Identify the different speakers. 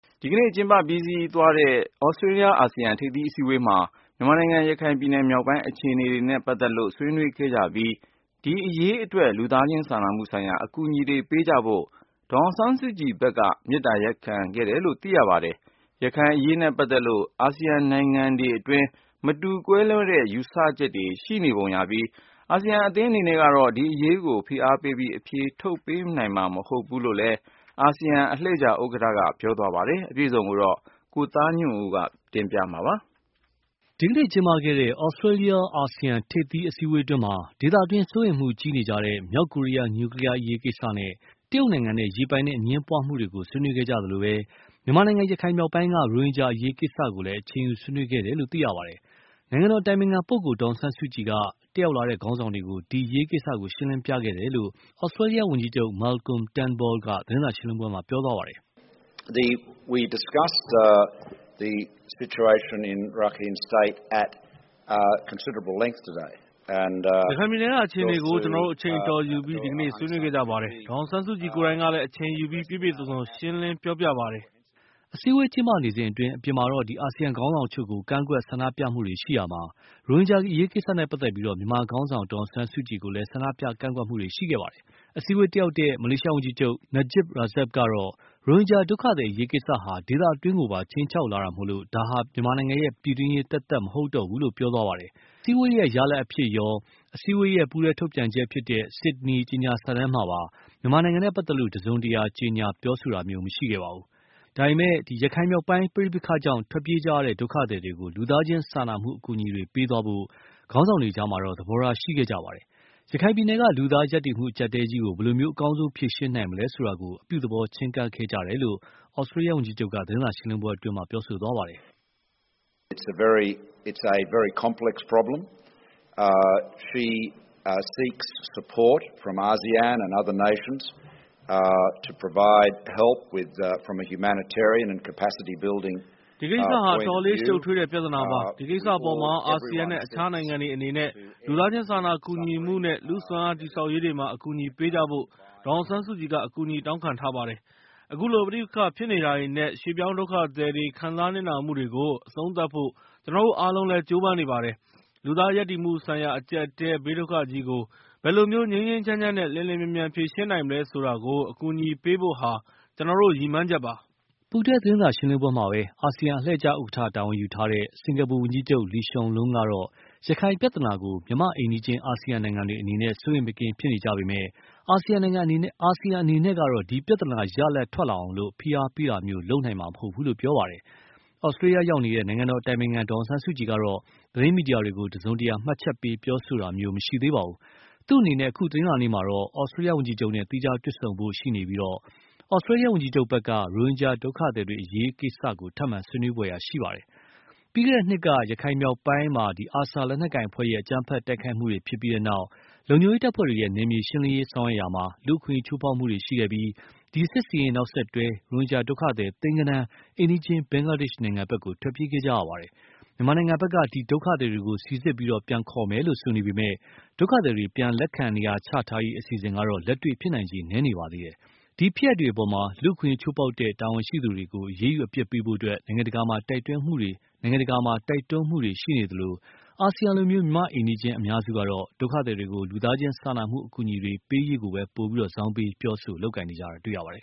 Speaker 1: ဒီကနေ့ ကျင်းပပြီးစီးခဲ့တဲ့ သြစတေးလျ အာဆီယံ ထိပ်သီးအစည်းအဝေးမှာ မြန်မာနိုင်ငံ ရခိုင်ပြည်နယ်မြောက်ပိုင်းအခြေအနေတွေနဲ့ပတ်သက်လို့ ဆွေးနွေးခဲ့ကြပြီး၊ ဒီအရေးအတွက် လူသားချင်းစာနာမှုဆိုင်ရာ အကူအညီတွေ ပေးကြဖို့ ဒေါ်အောင်ဆန်းစုကြည်ဖက်ကလည်း မေတ္တာရပ်ခံခဲ့တယ်လို့ သိရပါတယ်။ ရခိုင်မြောက်ပိုင်းအရေးနဲ့ပတ်သက်လို့ အာဆီယံနိုင်ငံတွေအတွင်း မတူကွဲလွဲတဲ့ ယူဆချက်တွေရှိပုံရပြီး၊ အာဆီယံအသင်းအနေနဲ့ကတော့ ဒီအရေးကို ဖိအားပေးပြီး အဖြေထုတ်ပေးနိုင်မှာမဟုတ်ဘူးလို့လည်း အာဆီယံအလှည့်ကျ ဥက္ကဌက ပြောဆိုခဲ့ပါတယ်။ အပြည့်အစုံကိုတော့ ကိုသားညွန့်ဦး ပြောပြမှာပါ။ ဒီကနေ့ ကျင်းပခဲ့တဲ့
Speaker 2: သြစတေးလျအာဆီယံ ထိပ်သီးအစည်းအဝေးအတွင်းမှာတော့ ဒေသတွင်းစိုးရိမ်မှုကြီးနေတဲ့ မြောက်ကိုရီယား နျူကလီယားကိစ္စနဲ့ တရုတ်နိုင်ငံနဲ့ရေပိုင်နက်အငြင်းပွားမှုတွေ ဆွေးနွေးခဲ့ကြသလို၊ မြန်မာနိုင်ငံ ရခိုင်မြောက်ပိုင်းက ရိုဟင်ဂျာအရေးကိစ္စကိုလည်း အချိန်ယူဆွေးနွေးခဲ့တယ်လို့ သိရပါတယ်။ နိုင်ငံတော်အတိုင်ပင်ခံပုဂ္ဂိုလ်ဒေါ်အောင်ဆန်းစုကြည်က တတ်လာတဲ့ ခေါင်းဆောင်တွေကို ဒီအရေးကိစ္စ ရှင်းလင်းပြခဲ့တယ်လို့ သြစတေးလျ ဝန်ကြီးချုပ် Moalcolm Turnbull က သတင်းစာရှင်းလင်းပွဲမှာ ပြောသွားပါတယ်။ “ရခို
Speaker 3: င်ပြည်နယ်က အခြေအနေကို ကျနော်တို့ အချိန်အတော်ယူပြီး ဒီကနေ့ ဆွေးနွေးခဲ့ကြပါတယ်။
Speaker 4: ဒေါ်အောင်ဆန်းစုကြည်ကိုယ်တိုင်ကလည်း အချိန်ယူပြီး ပြည့်ပြည့်စုံစုံ ရှင်းလင်းပြောပြပါတယ်။
Speaker 2: ” အစည်းအဝေးကျင်းပနေစဉ်အတွင်း အပြင်မှာ အာဆီယံခေါင်းဆောင်အချို့ကို ဆန္ဒပြကန့်ကွက်တွေရှိရာမှာ၊ ရိုဟင်ဂျာအရေးကိစ္စနဲ့ပတ်သက်လို့ မြန်မာခေါင်းဆောင်ဒေါ်အောင်ဆန်းစုကြည်ကိုလည်း ဆန္ဒပြကန့်ကွက်မှုတွေရှိခဲ့ပါတယ်။ အစည်းအဝေးတတ်ရောက်တဲ့ မလေးရှားဝန်ကြီးချုပ် Najib Razak ကတော့ ရိုဟင်ဂျာဒုက္ခသည်အရေးကိစ္စဟာ ဒေသတွင်းကိုပါ ခြိမ်းခြောက်လာတာမို့ ဒါဟာ ပြည်တွင်းရေးသက်သက်မဟုတ်တော့ဘူးလို့ ပြောခဲ့ပါတယ်။ ဒါပေမယ့်လည်း အစည်းအဝေးရဲ့ ရလဒ်အဖြစ်ရော၊ အစည်းအဝေးရဲ့ ပူးတွဲထုတ်ပြန်ချက်ဖြစ်တဲ့ Sydney ကြေညာစာတမ်းမှာပဲ မြန်မာနဲ့ပတ်သက်လို့ တစုံတရာ ကြေညာပြောဆိုတာမျိုးမရှိခဲ့ပါဘူး။ ဒါပေမယ့်လို့ ရခိုင်မြောက်ပိုင်းပဋိပက္ခကြောင့် ထွက်ပြေးကြရတဲ့ ဒုက္ခသည်တွေကို လူသားချင်းစာနာမှုအကူအညီတွေပေးသွားဖို့ ခေါင်းဆောင်တွေအကြား သဘောထားရှိခဲ့ကြပါတယ်။ ရခိုင်ပြည်နယ်က လူသားရပ်တည်မှုအကြပ်အတည်းကြီးကို ဘယ်လို အကောင်းဆုံးဖြေရှင်းနိုင်မလဲဆိုတာကို အပြုသဘောချည်းကပ်ခဲ့ကြတယ်လို့ သြစတေးလျဝန်ကြီးချုပ်က ပြောသွားပါတယ်။ “ဒီကိစ္စဟာ အတ
Speaker 3: ေ
Speaker 4: ာ်လေး ရှုပ်ထွေးတဲ့ ပြဿနာပါ။ ဒီကိစ္စအပေါ်မှာ အာဆီယံနဲ့ အခြားနိုင်ငံတွေအနေနဲ့ လူသားချင်းစာနာကူညီမှုနဲ့ လူစွမ်းအားတည်ဆောက်ရေးတွေမှာ အကူအညီပေးကြဖို့ ဒေါ်အောင်ဆန်းစုကြည်က အကူအညီတောင်းခံထားပါတယ်။ အခုလို ပဋိပက္ခဖြစ်နေတာတွေနဲ့ ရွေ့ပြောင်းဒုက္ခသည်တွေ ခံစားနစ်နာမှုတွေကို အဆုံးသတ်ဖို့ ကျနော်တို့အားလုံးလည်း ကြိုးပမ်းနေပါတယ်။ လူသားရပ်တည်မှုဆိုင်ရာ အကြပ်အတည်းဘေးဒုက္ခသည်ကြီးကို ဘယ်လိုမျိုး ငြိမ်းငြိမ်းချမ်းချမ်းနဲ့ လျှင်လျှင်မြန်မြန်ဖြေရှင်းနိုင်မလဲဆိုတာကို အကူအညီပေးဖို့ဟာ ကျနော်တို့ ရည်မှန်းချက်ပါ။”
Speaker 2: ပူးတွဲ သတင်းစာရှင်းလင်းပွဲမှာပဲ အာဆီယံအလှည့်ကျဥက္ကဌ တာဝန်ယူထားတဲ့စင်္ကာပူဝန်ကြီးချုပ် Lee Hsein Loong ကတော့ ရခိုင်ပြဿနာကို မြန်မာ့အိမ်နီးချင်း အာဆီယံနိုင်ငံတွေအနေနဲ့ စိုးရိမ်မကင်းဖြစ်နေကြပေမယ့်လည်း၊ အာဆီယံအနေနဲ့ကတော့ ဒီပြဿနာ ရလဒ်ထွက်လာအောင် ဖိအားပေးတာမျိုး လုပ်နိုင်မှာမဟုတ်ဘူးလို့ ပြောသွားပါတယ်။ သြစတေးလျ ရောက်နေတဲ့ နိုင်ငံတော်အတိုင်ပင်ခံဒေါ်အောင်ဆန်းစုကြည်ကတော့ သတင်းမီဒီယာတွေကိုတစုံတရာ မှတ်ချက်ပေး ပြောဆိုတာမျိုး မရှိသေးပါဘူး။ သူ့အနေနဲ့ အခု တနင်္လာနေ့မှာတော့ သြစတေးလျ ဝန်ကြီးချုပ်နဲ့ သီးခြားတွေ့ဆုံဖို့ရှိနေပြီး၊ သြစတေးလျ ဝန်ကြီးချုပ်ဖက်က ရိုဟင်ဂျာဒုက္ခသည်တွေအရေး ထပ်မံ ဆွေးနွေးဖွယ်ရှိနေပါတယ်။ ပြီးခဲ့တဲ့နှစ်က ရခိုင်မြောက်ပိုင်းမှာ ARSA လက်နက်ကိုင်အဖွဲ့ရဲ့ အကြမ်းဖက်တိုက်ခိုက်မှုတွေဖြစ်ပြီးနောက် လုံခြုံရေးတပ်ဖွဲ့တွေရဲ့ နယ်မြေရှင်းလင်းရေးဆောင်ရွက်ရာမှာ လူ့အခွင့်အရေးချိုးဖောက်မှုတွေရှိခဲ့ပြီး၊ ဒီစစ်ဆင်ရေးနောက်ဆက်တွဲ ရိုဟင်ဂျာဒုက္ခသည် သိန်းဂဏန်း အိမ်နီးချင်း ဘင်္ဂလားဒေ့ရ်ှနိုင်ငံဖက် ထွက်ပြေးခဲ့ရပါတယ်။ မြန်မာဖက်က ဒီဒုက္ခသည်တွေကို စီစစ်ပြန်ခေါ်မယ်လို့ဆိုနေပေမယ့်၊ ဒုက္ခသည်တွေ ပြန်လက်ခံနေရာချထားရေးအစီအစဉ်ကတော့ လက်တွေ့ဖြစ်နိုင်ချေ နည်းနေပါသေးတယ်။ ဒီအပေါ်မှာ လူ့အခွင့်အရေးချိုးဖောက်တဲ့ တာဝန်ရှိသူတွေကို အရေးယူအပြစ်ပေးဖို့ နိုင်ငံတကာမှာ တိုက်တွန်းမှုတွေရှိနေသလို၊ အာဆီယံလို မြန်မာအိမ်နီးချင်းအများစုကတော့ ဒုက္ခသည်တွေကို လူသားချင်းစာနာမှုအကူအညီတွေပေးရေးကို ပိုပြီး ဇောင်းပေး ပြောဆို လုပ်ကိုင်ကြတာတွေ့ရပါတယ်